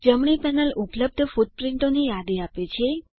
જમણી પેનલ ઉપલબ્ધ ફૂટપ્રીંટોની યાદી આપે છે